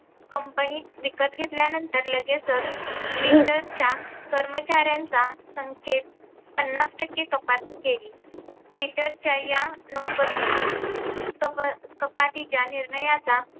Company विकत घेतल्यानंतर लगेचच Twitter च्या कर्मचारांचा संख्येत पन्नास टक्के कपात केली. Twitter च्या या नोकर कप कपातीच्या निर्णयाचा